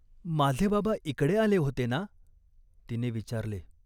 "माझे बाबा इकडे आले होते ना ?" तिने विचारले.